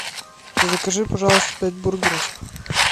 закажи пожалуйста пять бургеров